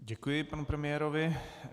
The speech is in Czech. Děkuji panu premiérovi.